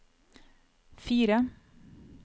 fire